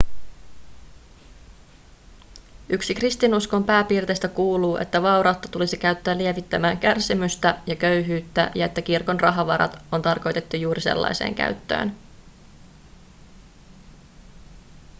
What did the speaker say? yksi kristinuskon pääperiaatteista kuuluu että vaurautta tulisi käyttää lievittämään kärsimystä ja köyhyyttä ja että kirkon rahavarat on tarkoitettu juuri sellaiseen käyttöön